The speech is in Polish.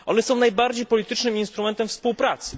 One są najbardziej politycznym instrumentem współpracy.